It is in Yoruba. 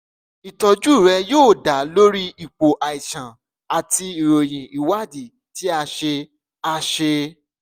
ìtọ́jú rẹ yóò da lórí ipò àìsàn àti ìròyìn ìwádìí tí a ṣe a ṣe